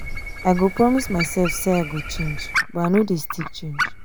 i go promise mysef sey i go change but i no dey still change.